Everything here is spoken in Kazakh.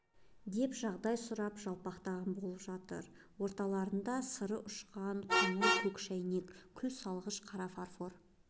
деп жағдай сұрап жалпақтаған болып жатыр орталарында сыры ұшқан қотыр көк шәйнек күл салғыш қара фарфор